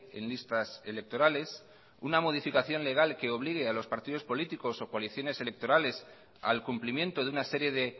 en listas electorales una modificación legal que obligue a los partidos políticos o coaliciones electorales al cumplimiento de una serie de